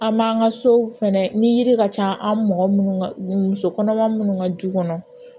An m'an ka so fɛnɛ ni yiri ka ca an mɔgɔ munnu ka muso kɔnɔma minnu ka du kɔnɔ